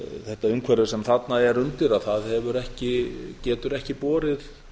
þetta umhverfi sem þarna er undir getur ekki borið